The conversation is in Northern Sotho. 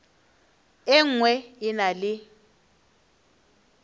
e nngwe e na le